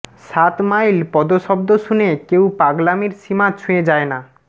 সাত মাইল পদশব্দ শুনে কেউ পাগলামির সীমা ছুঁয়ে যায় না